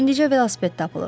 İndicə velosiped tapılıb.